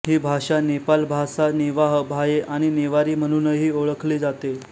ही भाषा नेपाल भासा नेवाः भाये आणि नेवारी म्हणूनही ओळखली जाते